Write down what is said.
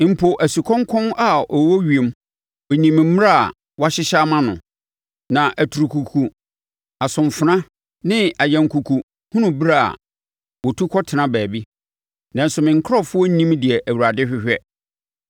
Mpo asukɔnkɔn a ɔwɔ ewiem nim ne mmerɛ a wɔahyehyɛ ama no, na aturukuku, asomfena ne anyankuku hunu ɛberɛ a wɔtu kɔtena baabi, nanso me nkurɔfoɔ nnim deɛ Awurade hwehwɛ.